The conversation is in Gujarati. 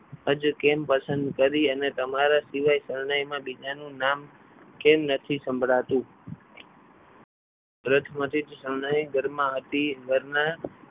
હજુ કેમ પસંદ કરી અને તમારા સિવાય શરણાઈ માં બીજાનું નામ કેમ નથી સંભળાતું બચપનથી શરણાઈ ઘરમાં હતી ઘરમાં